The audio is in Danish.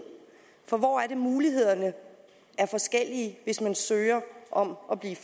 for hvor er det mulighederne er forskellige hvis man søger om at blive